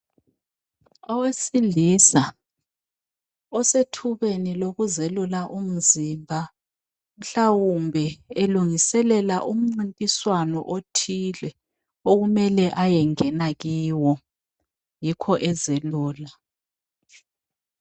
Owesilisa osethubeni lokuzelula umzimba mhlawumbe elungiselela umncintiswano othile okumele ayengena kiwo yikho ezelula.